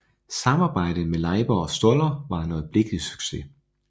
Samarbejdet med Leiber og Stoller var en øjeblikkelig succes